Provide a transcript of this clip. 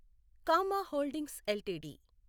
comma holdings LTD